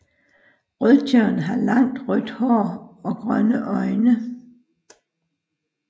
Rødtjørn har langt rødt hår og grønne øjne